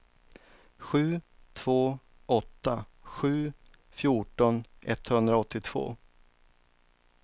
sju två åtta sju fjorton etthundraåttiotvå